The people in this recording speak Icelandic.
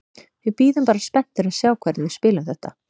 Við bíðum bara spenntir að sjá hvernig við spilum þetta.